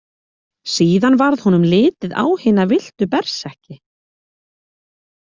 Síðan varð honum litið á hina villtu berserki.